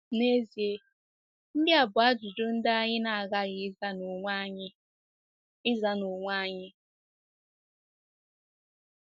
N'ezie, ndị a bụ ajụjụ ndị anyị na-aghaghị ịza n'onwe anyị. ịza n'onwe anyị.